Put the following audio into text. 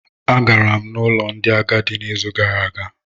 Agara m n'ụlọ ndị agadi n'izu gara aga